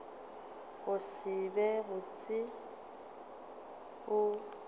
go se be botse o